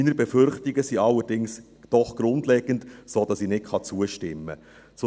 Meine Befürchtungen sind allerdings doch grundlegend, sodass ich nicht zustimmen kann.